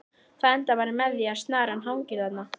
Það endar bara með því að snaran hangir þarna!